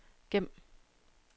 gem